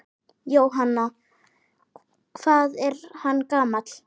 Jóhann: Hvað er hann gamall?